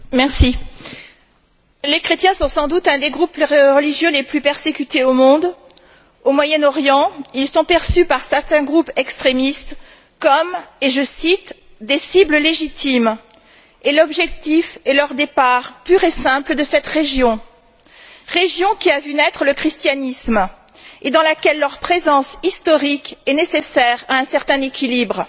Madame le Présidente, les chrétiens sont sans doute l'un des groupes religieux les plus persécutés au monde. Au Moyen Orient, ils sont perçus par certains groupes extrémistes comme et je cite des cibles légitimes et l'objectif est leur départ pur et simple de cette région, région qui a vu naître le christianisme et dans laquelle leur présence historique est nécessaire à un certain équilibre.